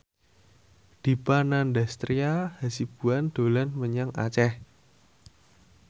Dipa Nandastyra Hasibuan dolan menyang Aceh